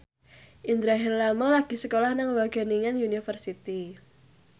Indra Herlambang lagi sekolah nang Wageningen University